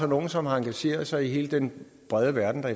nogle som engagerer sig i hele den brede verden